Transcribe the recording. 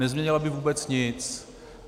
Nezměnila by vůbec nic.